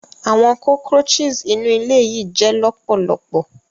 Awọn cockroaches inu ile yii jẹ lọpọlọpọ.